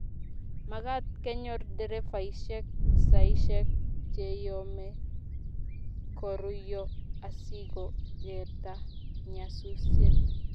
magaat konyor nderefaishek saishek cheyome koruiyo asigogerta nyasusiet